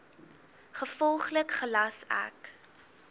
gevolglik gelas ek